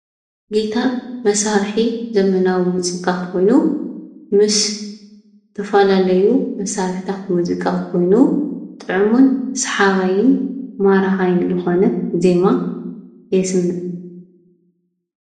ጊታር መሳርሒ ዘበናዊ መዚቃ ኾይኑ ምስ ዝተፋላለዩ መሳርሕታት መዚቃ ኮይኑ ጥዑሙን ሰሓባይን ማራኻይን ዝኾነ ዜማ የስምዕ፡፡